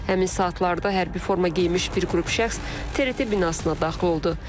Həmin saatlarda hərbi forma geyinmiş bir qrup şəxs TRT binasına daxil oldu.